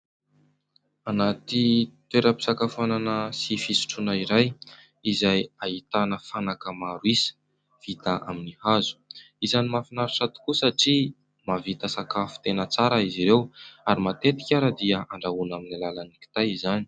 Anaty toeram-pisakafoanana sy fisotroana iray izay ahitana fanaka maro isa vita amin'ny hazo, isany mahafinaritra tokoa satria mahavita sakafo tena tsara izy ireo ary matetika ary dia andrahoana amin'ny alalan'ny kitay izany.